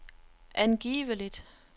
angiveligt